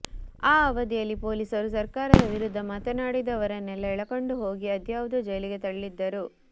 ಆ ಅವಧಿಯಲ್ಲಿ ಪೊಲೀಸರು ಸರ್ಕಾರದ ವಿರುದ್ಧ ಮಾತಾಡಿದವರನ್ನೆಲ್ಲ ಎಳಕೊಂಡು ಹೋಗಿ ಅದ್ಯಾವುದೋ ಜೈಲಿಗೆ ತಳ್ಳಿದ್ದರು